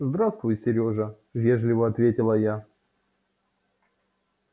здравствуй серёжа вежливо ответила я